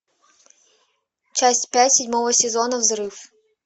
часть пять седьмого сезона взрыв